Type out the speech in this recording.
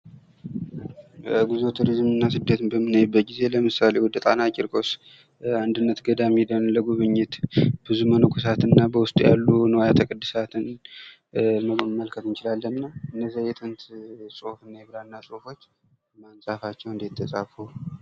በጉዞ፣ ቱሪዝም እና ስደትን በምናይበት ጊዜ ለምሳሌ ወደ ጣና ቂርቆስ አንድነት ገዳም ሄደን ለጉብኝት ብዙ መነኮሳት እና በውስጡ ያሉ ንዋያተ ቅዱሳትን መመልከት እንችላለን። እነዛ የጥንት ጽሁፍ እና የብራና ጽሁፎች ማን ጻፋቸው፣ እንዴት ተጻፉ?